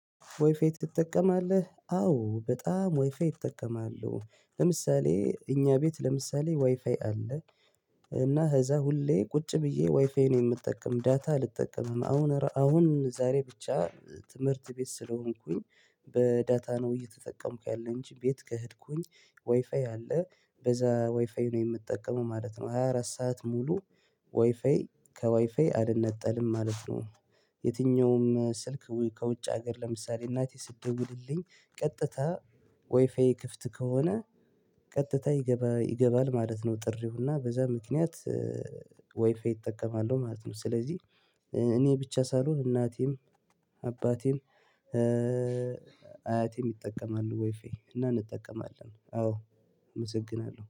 ዋይፋይ ትጠቀማለህ? አዎ በጣም ዋይፋይ እጠቀማለሁ ለምሳሌ እኛ ቤት ለምሳሌ ዋይፋይ አለ። እና ከዛ ሁሌ ቁጭ ብዬ ዋይፋይ ነው የምጠቀም ዳታ አልጠቀምም አሁን አሁን ዛሬ ብቻ ትምህርት ቤት ስለሆንኩኝ በዳታ ነው እየተጠቀምኩ ያለኝ እንጂ ቤት ከሄድኩኝ ወይፋይ አለ በዛ ወይፋይ ነው የምጠቀመው ማለት ነው። ሃያ አራት ሰዓት ሙሉ ዋፋይ ከዋይፋይ አልነጠልም ማለት ነው። የትኛውም ስልክ ከውጭ ሀገር ለምሳሌ እናቴ ስትደውልልኝ ቀጥታ ዋይፋዬ ክፍት ከሆነ ቀጥታ ይገባ ይገባል ማለት ነው። ጥሪውና በዛ ምክንያት ዋይፋይ እጠቀማለሁ ማለት ነው። ስለዚህ እኔ ብቻ ሳልሆን እናቴም አባቴም አያቴም ይጠቀማሉ ዋይፋ እና እንጠቀማለን። አዎ እመሰግናለሁ